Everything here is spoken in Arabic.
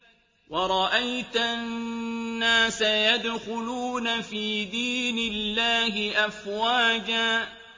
وَرَأَيْتَ النَّاسَ يَدْخُلُونَ فِي دِينِ اللَّهِ أَفْوَاجًا